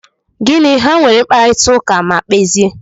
Gịnị! Ha nwere mkparita ụka ma kpezie?